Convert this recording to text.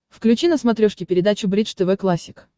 включи на смотрешке передачу бридж тв классик